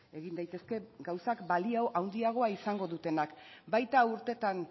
egin daitezke gauzak balio handiagoa izango dutenak baita urtetan